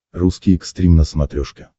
русский экстрим на смотрешке